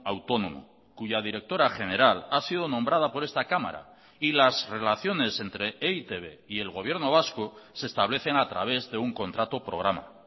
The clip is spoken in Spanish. autónomo cuya directora general ha sido nombrada por esta cámara y las relaciones entre e i te be y el gobierno vasco se establecen a través de un contrato programa